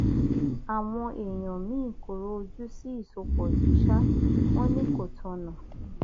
àwọn èèyàn míín kóró ojú sí ìsopọ yìí sá wọn ni kò tọnà